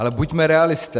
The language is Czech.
Ale buďme realisté.